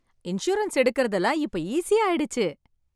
Insurance எடுக்குறதுக்கு எல்லாம் இப்ப ஈசியா ஆயிடுச்சு.